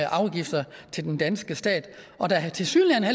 afgifter til den danske stat og der er tilsyneladende